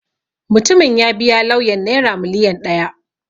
Mutumin ya biya lauyan Naira miliyan ɗaya.